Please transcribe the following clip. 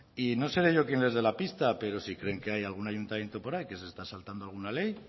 y no seré yo quien les dé la pista pero si creen que hay algún ayuntamiento por ahí que se está saltando alguna ley